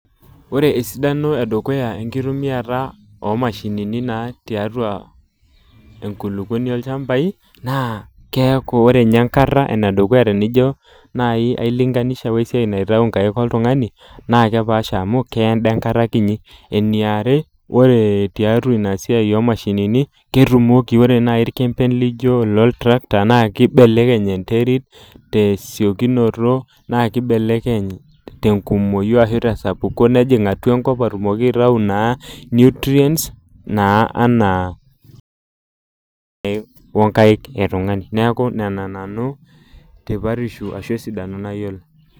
Ore esidano edukuya enkitumiata omashinini naa tiatua enkulukuoni olchambai naa keaku ore nye enkata ene dukuya tenijo nai ailinganisha naitayu inkaik oltungani naa kepaasha amu keya enda enkata kinyi . Eniare ore tiatua ina siai omashinini ketumoki , ore nai irkempeli loijo ilotractor naa kibelekeny enterit tesiokinoto naa kibelekeny tenkumoi ashu tesapuko nejing atua enkop atumoki aitayu naa nutrients naa anaa wonkaik etungani, neaku nena nanu tipatisho ashu esidano nayiolo .